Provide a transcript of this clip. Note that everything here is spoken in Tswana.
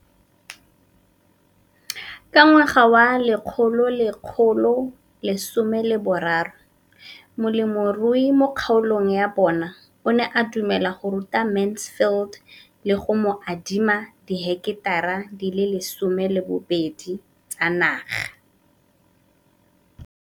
Ka ngwaga wa 2013, molemirui mo kgaolong ya bona o ne a dumela go ruta Mansfield le go mo adima di heketara di le 12 tsa naga.